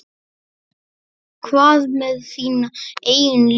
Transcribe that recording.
Hvað með þína eigin línu?